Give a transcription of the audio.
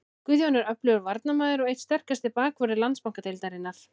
Guðjón er öflugur varnarmaður og einn sterkasti bakvörður Landsbankadeildarinnar.